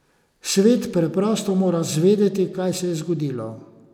Svet preprosto mora zvedeti, kaj se je zgodilo.